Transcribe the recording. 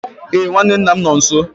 Ee, nwanne nna m nọ nso.